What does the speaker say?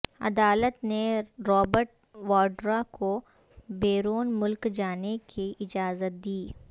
عدالت نے رابرٹ واڈرا کو بیرون ملک جانے کی اجازت دی